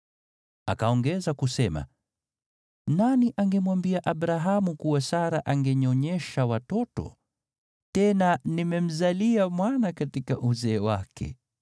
Akaongeza kusema, “Nani angemwambia Abrahamu kuwa Sara angenyonyesha watoto? Tena nimemzalia mwana katika uzee wake.”